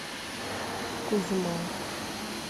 кузьма